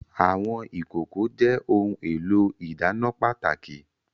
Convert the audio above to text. Àwọn ìkòkò jẹ́ ohun èlò ìdáná pàtàkì